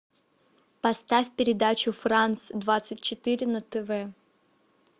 поставь передачу франц двадцать четыре на тв